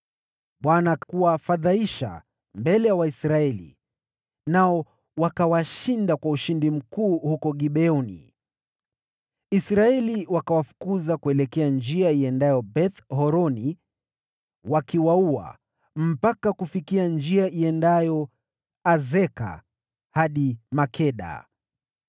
Bwana akawafadhaisha mbele ya Waisraeli, nao wakawashinda kwa ushindi mkuu huko Gibeoni. Israeli wakawafukuza kuelekea njia iendayo Beth-Horoni wakiwaua mpaka kufikia njia iendayo Azeka na Makeda.